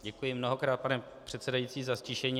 Děkuji mnohokrát, pane předsedající za ztišení.